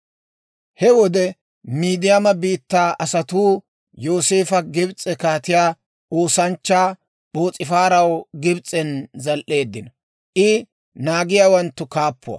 He wode Miidiyaama biittaa asatuu Yooseefa Gibs'e kaatiyaa oosanchchaa P'oos'ifaaraw Gibs'en zal"eeddino; I naagiyaawanttu kaappuwaa.